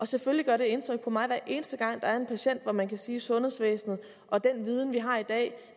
selvfølgelig gør det indtryk på mig hver eneste gang der er en patient hvor man kan sige at sundhedsvæsenet og den viden vi har i dag